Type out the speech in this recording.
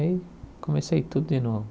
E aí comecei tudo de novo.